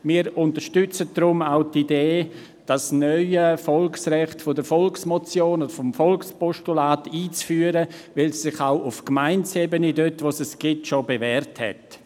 Wir unterstützen deshalb auch die Idee, das neue Volksrecht der Volksmotion oder des Volkspostulats einzuführen, weil es sich dort, wo es schon besteht, auf Gemeindeebene bewährt hat.